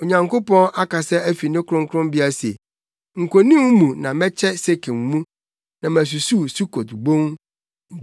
Onyankopɔn akasa afi ne kronkronbea se, “Nkonim mu na mɛkyɛ Sekem mu na masusuw Sukot Bon.